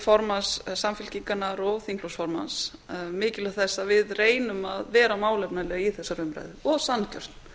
formanns samfylkingarinnar og þingflokksformanns um mikilvægi þess að við reynum að vera málefnaleg í þessari umræðu og sanngjörn